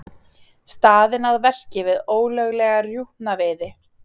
Staðinn að verki við ólöglega rjúpnaveiði